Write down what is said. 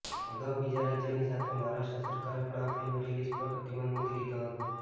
અગાઉ બીજા રાજ્યોની સાથે મહારાષ્ટ્ર સરકારે પણ આ ફ્લ્મિ રિલિઝ પર પ્રતિબધ મૂકૂ દીધો હતો